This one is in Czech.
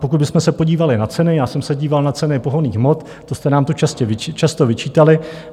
Pokud bychom se podívali na ceny, já jsem se díval na ceny pohonných hmot, to jste nám tu často vyčítali.